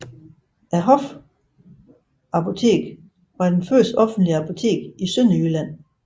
Hofapoteket var det første offentlige apotek i Sønderjylland